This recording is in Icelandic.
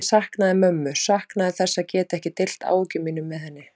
Ég saknaði mömmu, saknaði þess að geta ekki deilt áhyggjum mínum með henni.